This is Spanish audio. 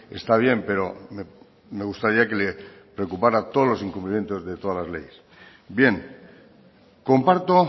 está bien pero me gustaría que le preocupará todo los incumplimientos de todas las leyes bien comparto